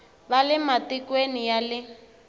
va le matikweni ya le